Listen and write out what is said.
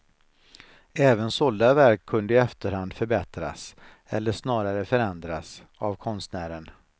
Även sålda verk kunde i efterhand förbättras, eller snarare förändras, av konstnären.